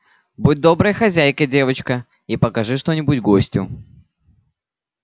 будь доброй хозяйкой девочка и покажи что-нибудь гостю